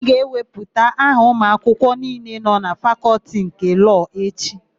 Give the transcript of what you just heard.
A ga-ewepụta aha ụmụakwụkwọ niile nọ na Fakọltị nke Lọọ echi.